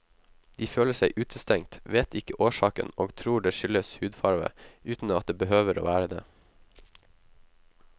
De føler seg utestengt, vet ikke årsaken og tror det skyldes hudfarve, uten at det behøver å være det.